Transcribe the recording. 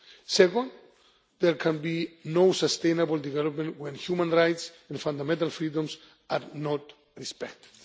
us. Second, there can be no sustainable development when human rights and fundamental freedoms are not respected.